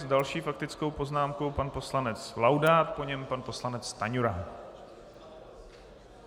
S další faktickou poznámkou pan poslanec Laudát, po něm pan poslanec Stanjura.